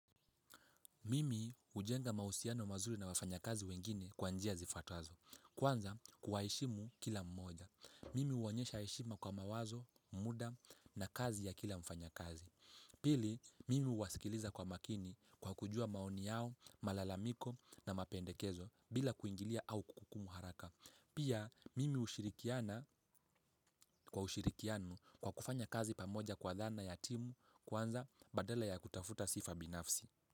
Mimi hujenga mahusiano mazuri na wafanyakazi wengine kwa njia zifuatazo. Kwanza kuwaheshimu kila mmoja. Mimi huonyesha heshima kwa mawazo, muda na kazi ya kila mfanyakazi. Pili, mimi huwasikiliza kwa makini kwa kujua maoni yao, malalamiko na mapendekezo bila kuingilia au kuhukumu haraka. Pia, mimi hushirikiana kwa ushirikiano kwa kufanya kazi pamoja kwa dhana ya timu kwanza badala ya kutafuta sifa binafsi.